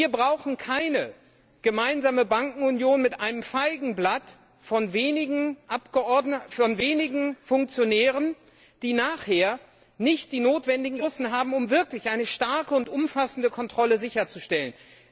Wir brauchen keine gemeinsame Bankenunion mit einem Feigenblatt von wenigen Funktionären, die nachher nicht die notwendigen Ressourcen haben, um wirklich eine starke und umfassende Kontrolle sicherzustellen.